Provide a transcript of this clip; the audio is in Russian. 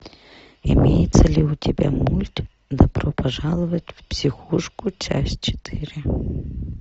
имеется ли у тебя мульт добро пожаловать в психушку часть четыре